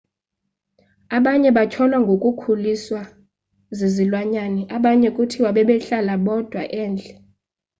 abanye batyholwa ngokukhuliswa zizilwanyana abanye kuthiwa bebehlala bodwa endle